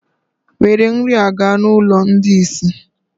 Were nri a gaa n'ụlọ ndị ìsì!